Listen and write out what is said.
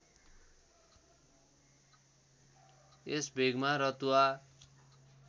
यस भेगमा रतुवा